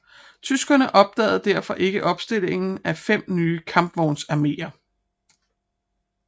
Tyskerne opdagede derfor ikke opstillingen af fem nye kampvognsarméer